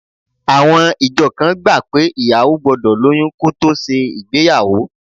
Àwọn ìjọ kan gbà pé ìyàwó gbọ́dọ̀ lóyún kó tó ṣe ìgbéyàwó